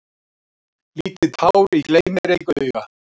Lítið tár í gleym-mér-ei-auga.